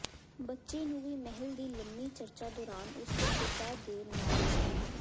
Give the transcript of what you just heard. ਬੱਚੇ ਨੂੰ ਵੀ ਮਹਿਲ ਦੀ ਲੰਮੀ ਚਰਚਾ ਦੌਰਾਨ ਉਸ ਦੇ ਪਿਤਾ ਦੇ ਨਾਲ ਸਨ